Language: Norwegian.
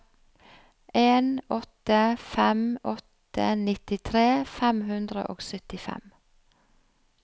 en åtte fem åtte nittitre fem hundre og syttifem